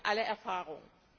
Das zeigen alle Erfahrungen.